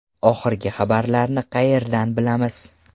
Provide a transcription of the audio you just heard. Oxirgi xabarlarni qayerdan bilamiz?